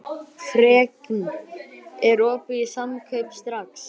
Fregn, er opið í Samkaup Strax?